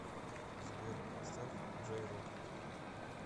сбер поставь джей рок